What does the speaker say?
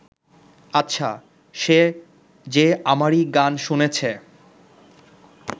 আচ্ছা, সে যে আমারই গান শুনেছ